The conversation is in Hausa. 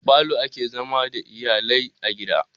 A falo ake zama da iyalai a gida.